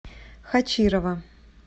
хачирова